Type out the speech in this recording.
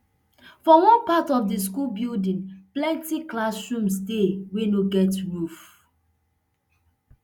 for one part of di school building plenty classrooms dey wey no get roof